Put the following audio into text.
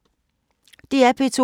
DR P2